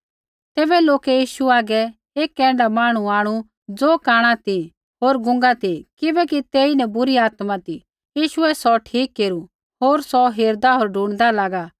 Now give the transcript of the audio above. तैबै लोकै यीशु हागै एक ऐण्ढा मांहणु आंणु ज़ो कांणा ती होर गूंगा ती किबैकि तेईन बुरी आत्मा ती यीशुऐ सौ ठीक केरू होर सौ हेरदा होर ढूणिदा लागा